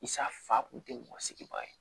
Isa fa kun te mɔgɔ sigiba ye